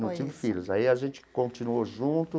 Não tinha filhos, aí a gente continuou junto,